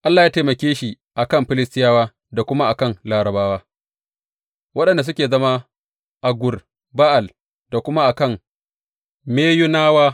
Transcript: Allah ya taimake shi a kan Filistiyawa da kuma a kan Larabawa waɗanda suke zama a Gur Ba’al da kuma a kan Meyunawa.